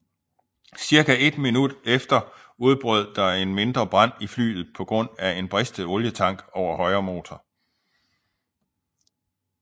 Cirka ét minut efter udbrød der en mindre brand i flyet på grund af en bristet olietank over højre motor